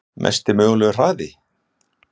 Mesti mögulegi hraði?